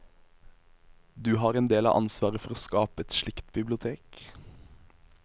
Du har en del av ansvaret for å skape et slikt bibliotek.